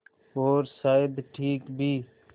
और शायद ठीक भी